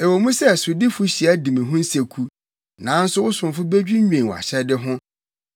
Ɛwɔ mu sɛ sodifo hyia di me ho nseku, nanso wo somfo bedwinnwen wʼahyɛde ho.